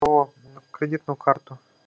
о кредитную карту